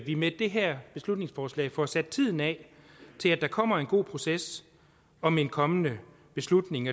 vi med det her beslutningsforslag får sat tiden af til at der kommer en god proces om en kommende beslutning